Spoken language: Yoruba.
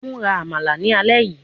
Mura Amala ni alẹ yii